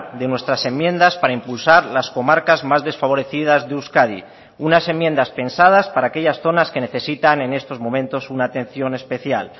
de nuestras enmiendas para impulsar las comarcas más desfavorecidas de euskadi unas enmiendas pensadas para aquellas zonas que necesitan en estos momentos una atención especial